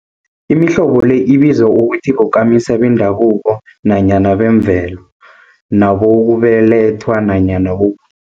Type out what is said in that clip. Imihlobo le ibizwa ukuthi bokamisa bendabuko nanyana bemvelo, nabokubelethwa nanyana bo.